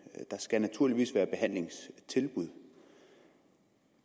der skal naturligvis være behandlingstilbud